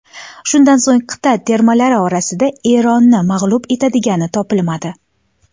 Shundan so‘ng qit’a termalari orasida Eronni mag‘lub etadigani topilmadi.